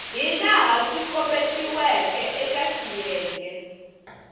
hilaha swi kombetiweke eka xiyenge